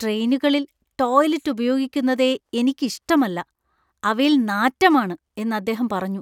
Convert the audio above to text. ട്രെയിനുകളിൽ ടോയ്ലറ്റ് ഉപയോഗിക്കുന്നതേ എനിക്ക് ഇഷ്ടമല്ല , "അവയിൽ നാറ്റമാണ്" എന്ന് അദ്ദേഹം പറഞ്ഞു.